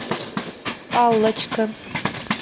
аллочка